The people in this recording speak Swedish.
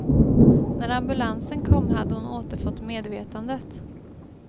När ambulansen kom hade hon återfått medvetandet.